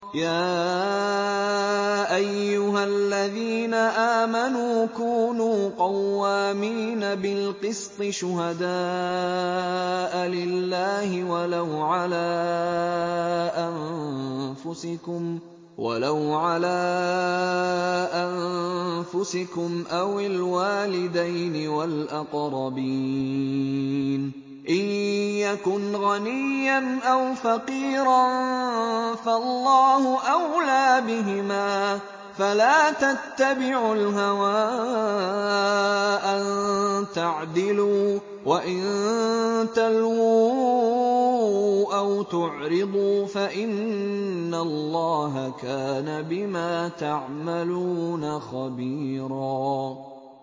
۞ يَا أَيُّهَا الَّذِينَ آمَنُوا كُونُوا قَوَّامِينَ بِالْقِسْطِ شُهَدَاءَ لِلَّهِ وَلَوْ عَلَىٰ أَنفُسِكُمْ أَوِ الْوَالِدَيْنِ وَالْأَقْرَبِينَ ۚ إِن يَكُنْ غَنِيًّا أَوْ فَقِيرًا فَاللَّهُ أَوْلَىٰ بِهِمَا ۖ فَلَا تَتَّبِعُوا الْهَوَىٰ أَن تَعْدِلُوا ۚ وَإِن تَلْوُوا أَوْ تُعْرِضُوا فَإِنَّ اللَّهَ كَانَ بِمَا تَعْمَلُونَ خَبِيرًا